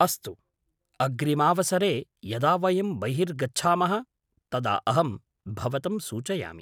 अस्तु, अग्रिमावसरे यदा वयं बहिर्गच्छामः तदा अहं भवतं सूचयामि।